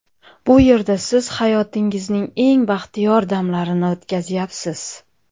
Bu yerda siz hayotingizning eng baxtiyor damlarini o‘tkazyapsiz.